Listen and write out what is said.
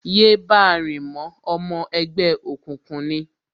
Yé báa rìn mọ́, Ọmọ ẹgbẹ́ òkùnkùn ni!